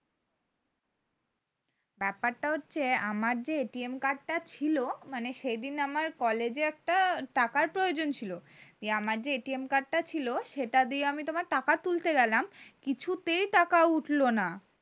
ব্যাপারটা হচ্ছে আমার যে টা ছিলো মানে সেদিন আমার কলেজে একটা টাকার প্রয়োজন ছিলো আমার যে টা ছিলো সেটা দিয়ে আমি তোমার টাকা তুলতে গেলাম কিছুতেই টাকা উঠলো না